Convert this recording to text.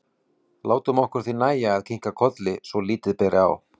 Látum okkur því nægja að kinka kolli svo lítið beri á.